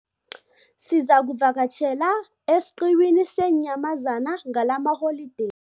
Sizakuvakatjhela esiqhiwini seenyamazana ngalamaholideyi.